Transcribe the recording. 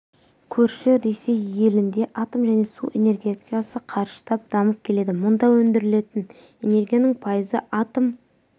көрші ресей елінде атом және су энергетикасы қарыштап дамып келеді мұнда өндірілетін энергияның пайызы атом